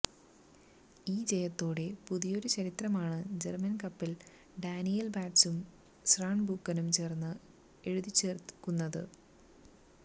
ഈ ജയത്തോടെ പുതിയൊരു ചരിത്രമാണ് ജര്മ്മന് കപ്പില് ഡാനിയേല് ബാറ്റ്സും സാര്ബ്രൂക്കനും ചേര്ന്ന് എഴുതിച്ചേര്ക്കുന്നത്